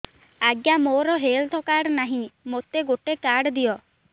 ଆଜ୍ଞା ମୋର health card ନାହିଁ ମୋତେ ଗୋଟେ କାର୍ଡ ଦିଅ